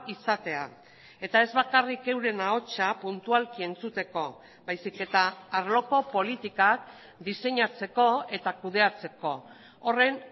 izatea eta ez bakarrik euren ahotsa puntualki entzuteko baizik eta arloko politikak diseinatzeko eta kudeatzeko horren